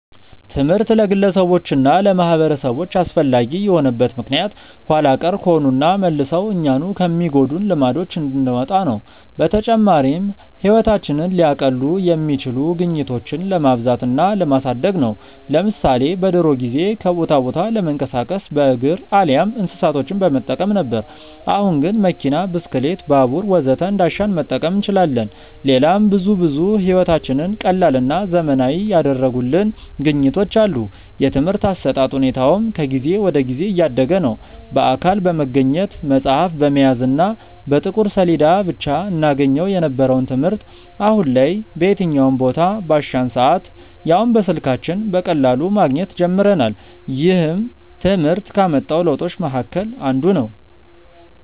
ትምህርት ለግለሰቦች እና ለማህበረሰቦች አስፈላጊ የሆነበት ምክንያት ኋላ ቀር ከሆኑና መልሰው እኛኑ ከሚጎዱን ልማዶች እንድንወጣ ነው። በተጨማሪም ህይወታችንን ሊያቀሉ የሚችሉ ግኝቶችን ለማብዛት እና ለማሳደግ ነው። ለምሳሌ በድሮ ጊዜ ከቦታ ቦታ ለመንቀሳቀስ በእግር አሊያም እንስሳቶችን በመጠቀም ነበር። አሁን ግን መኪና፣ ብስክሌት፣ ባቡር ወዘተ እንዳሻን መጠቀም እንችላለን። ሌላም ብዙ ብዙ ህይወታችንን ቀላልና ዘመናዊ ያደረጉልን ግኝቶች አሉ። የትምርህት አሰጣጥ ሁኔታውም ከጊዜ ወደ ጊዜ እያደገ ነዉ። በአካል በመገኘት፣ መፅሀፍ በመያዝ እና በጥቁር ሰሌዳ ብቻ እናገኘው የነበረውን ትምህርት አሁን ላይ በየትኛውም ቦታ፣ ባሻን ሰአት ያውም በስልካችን በቀላሉ ማግኘት ጀምረናል። ይህም ትምህርት ካመጣው ለውጦች መሀከል አንዱ ነው።